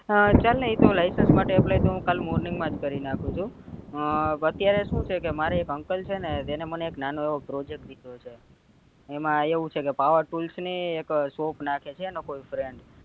હા ચાલ ને ઈ તો license માટે apply તો કાલ morning માં તો કરી નાખું છું હા અત્યારે શું છે મારે એક uncle છે ને એને મને નાનો એવો project દીધો છે એમાં એવું છે ક power tools ની એક shop નાખે છે એનો કોઈ freind